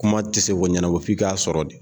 Kuma tɛ se k'o ɲɛnabɔ f'i k'a sɔrɔ de.